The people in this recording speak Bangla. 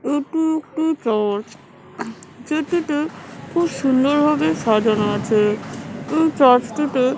এটি একটি চার্চ যেটিতে খুব সুন্দর ভাবে সাজানো আছে এই চার্চটিতে--